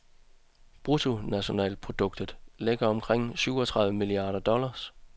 Bruttonationalproduktet ligger omkring syvogtredive milliarder dollars.